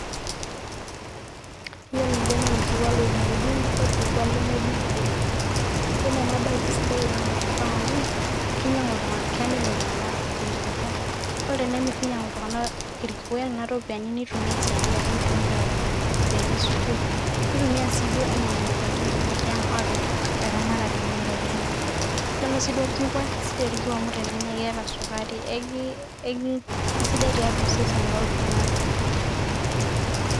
yiolo ele naa orkikwa lodungdungo orkikwa lemedungdungo yiolo ena bae kisidai oleng tenkop ang amu kinyiangu iltunganak kemir iltunganak irkikwa .ore tenemir ninyangu iltunganak irkikwa tonena ropiyiani nitumia aisaidia ate nitumia alak iropiyiani esukuul nitumia sii duo ainyangunyie ndaikin enye tiang apik eramatare enye aitobiraki. yiolo sii duo orkikwa kisidai orkikwa amu tenenyai amu keeta sukari kisidai tiatua osesen loltungani.